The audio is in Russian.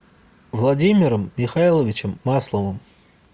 владимиром михайловичем масловым